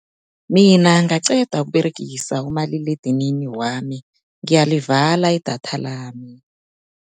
Mina ngaqeda ukuberegisa umaliledinini wami, ngiyalivala idatha lami.